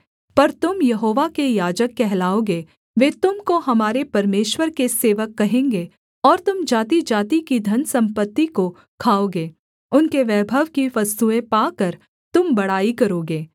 पर तुम यहोवा के याजक कहलाओगे वे तुम को हमारे परमेश्वर के सेवक कहेंगे और तुम जातिजाति की धनसम्पत्ति को खाओगे उनके वैभव की वस्तुएँ पाकर तुम बड़ाई करोगे